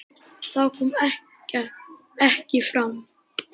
Það kom ekki fram.